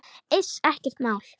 Iss, ekkert mál.